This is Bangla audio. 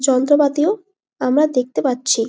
যন্ত্রপাতিও আমরা দেখতে পাচ্ছি ।